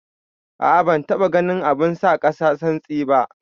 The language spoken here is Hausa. A'a ban taba ganin abun sa kasa santsi ba.